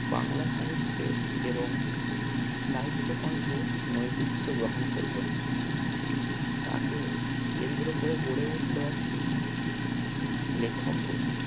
বাংলা সাহিত্যের এবং সাহিত্য কণ্ঠে নৈতিত্ব গ্রহণ করলেন। তাকে কেন্দ্র করে গড়ে উঠলো একটি লেখক গোষ্ঠী